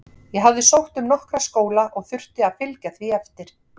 Ég hafði sótt um nokkra skóla og þurfti að fylgja því eftir.